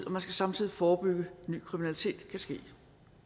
og man skal samtidig forebygge at ny kriminalitet kan ske